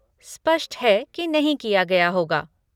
स्पष्ट है कि नहीं किया गया होगा।